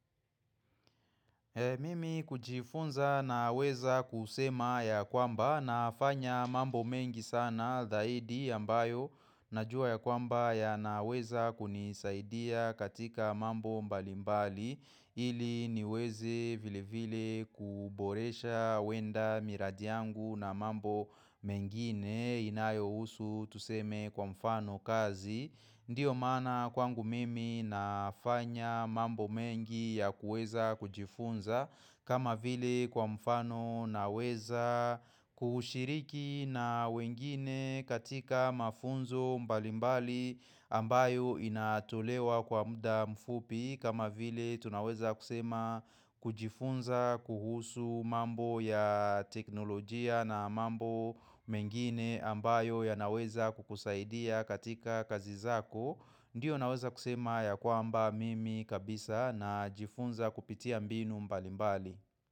Mimi kujifunza na weza kusema ya kwamba na fanya mambo mengi sana zaidi ambayo Najua ya kwamba ya na weza kunisaidia katika mambo mbalimbali ili niweze vile vile kuboresha wenda miradi yangu na mambo mengine inayo usu tuseme kwa mfano kazi Ndiyo maana kwangu mimi nafanya mambo mengi ya kueza kujifunza kama vile kwa mfano naweza kushiriki na wengine katika mafunzo mbalimbali ambayo inatolewa kwa muda mfupi kama vile tunaweza kusema kujifunza kuhusu mambo ya teknolojia na mambo mengine ambayo ya naweza kukusaidia katika kazi zako Ndiyo naweza kusema ya kwamba mimi kabisa na jifunza kupitia mbinu mbali mbali.